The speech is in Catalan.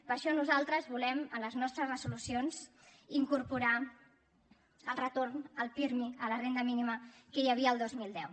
per això nosaltres volem a les nostres resolucions incorporar el retorn el pirmi a la renda mínima que hi havia el dos mil deu